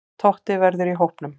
Totti verður í hópnum.